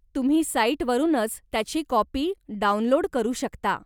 तुम्ही साईट वरूनच त्याची कॉपी डाऊनलोड करू शकता.